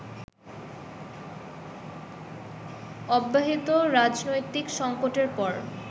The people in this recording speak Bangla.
অব্যাহত রাজনৈতিক সঙ্কটের পর